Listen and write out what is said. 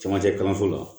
Camancɛ kalanso la